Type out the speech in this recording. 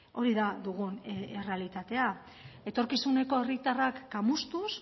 hori da dugun errealitatea etorkizuneko herritarrak kamustuz